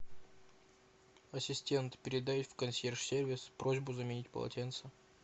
ассистент передай в консьерж сервис просьбу заменить полотенца